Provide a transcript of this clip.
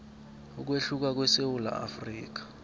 ukwehluka kwesewula afrika